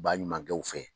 Baɲumankɛw fɛ